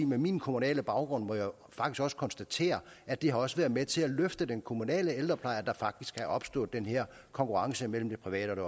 med min kommunale baggrund må jeg faktisk også konstatere at det også har været med til at løfte den kommunale ældrepleje at der faktisk er opstået den her konkurrence mellem det private